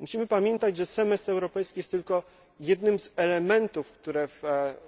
Musimy pamiętać, że semestr europejski jest tylko jednym z elementów, które pojawiły się w ciągu